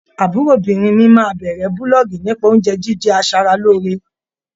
Àbúròbìnrin mi máa bẹ̀rẹ̀ búlọ́ọ̀gì nípa oúnjẹ jíjẹ aṣaralóore.